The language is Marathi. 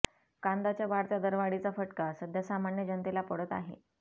कांदाच्या वाढत्या दरवाढीचा फटका सध्या सामान्य जनतेला पडत आहे